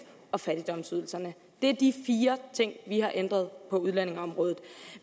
og fattigdomsydelserne det er de fire ting vi har ændret på udlændingeområdet